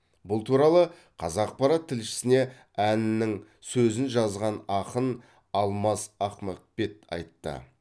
бұл туралы қазақпарат тілшісіне әннің сөзін жазған ақын алмас ахмақбек айтты